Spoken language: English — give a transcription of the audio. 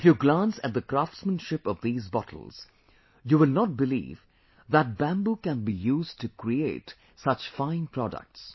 If you glance at the craftsmanship of these bottles, you will not believe that Bamboo can be used to create such fine products